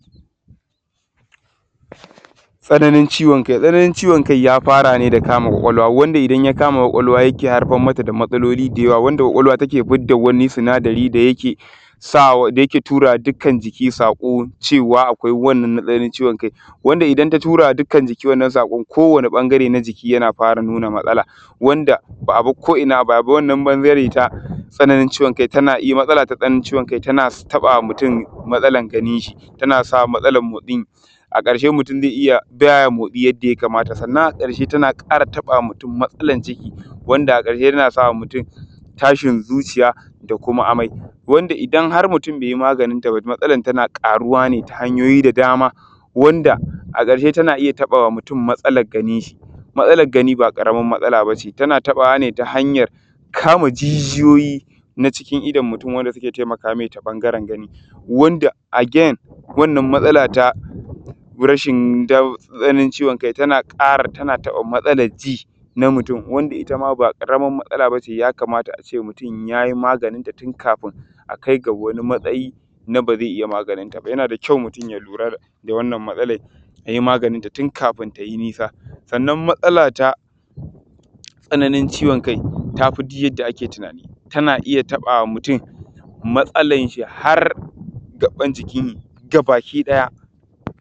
Tsananin ciyowan kai tsananin ya fara ne da kamun ƙwaƙwalwa wanda idan ya kama ƙwaƙwalwa yake haifarmata da matsaloli da yawa wanda ƙwaƙwalwa take fitar da wani sinadari da yake sawa a da yake tura wa dukkan jiki saƙo wace akwai sananin ciyowan kai wanda idan ta turawa wa dukkan jiki wannan saƙon ko ɓangare na jiki yana fara nuna matsala wanda ba ta bar ko’ina a ba ya ba wannan ɓangare na tsananin ciyowan kai tana iya matsala takan haifar da ciyowan kai tana taɓa wa mutum matsalar ganin shi tana sa matsalar motsi a ƙarshe mutum ze iya kiyaye motsi yadda ya kamata sannan a ƙarshe tana ƙara taɓa wa mutum matsalar ciki wanda a ƙarshe tana sa wa mutum tashin zuciya da kuma amai wanda idan har mutum be yi manajinta ba matsalar tana ƙaruwa ne ta hanyoyi da dama wanda a ƙarshe tana iya taba wa mutum matsalar ganin shi matsalar gani ba ƙaramin matsala ba ce tana taɓa wane ta hanyoyi kama jijiyoyi na cikin idon mutum wanda ke taimaka ta ɓangare gani wanda agen wannan matsala ta rashin ɗau tsananin ciyowan kai tana ƙara taba matsalar ji na mutum wanda itama ba ƙaramar matsala ba ce ya kamata a ce mutum yayi manajinta tun ƙafun akai da wani matsayi na ba ze iya manajinta ba yana da kayau mutum ya lura da wannan matsalai ya yi manajinta tunƙafun ta yi nisa sanan matsala ta tsananin ciyowan kai tafi ji dukka yadda ake tunanin tana iya taɓa wa mutum matsalar shi har gabban jiki gaba ki ɗaya.